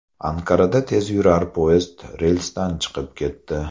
Anqarada tezyurar poyezd relsdan chiqib ketdi.